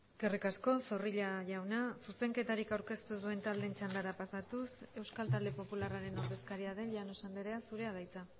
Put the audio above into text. eskerrik asko zorrilla jauna zuzenketarik aurkeztu ez duen taldeen txandara pasatuz euskal talde popularraren ordezkaria den llanos andrea zurea da hitza